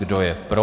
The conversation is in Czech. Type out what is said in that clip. Kdo je pro?